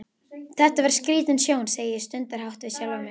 Þetta var skrítin sjón, segi ég stundarhátt við sjálfa mig.